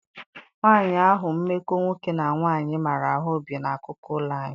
Nwaanyị ahụ mmekọ nwoke na nwaanyị maara ahụ bi n'akụkụ ụlọ anyị.